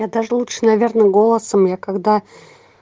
я даже лучше наверное голосом я когда